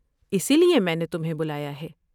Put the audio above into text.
اسی لیے میں نے تمہیں بلایا ہے۔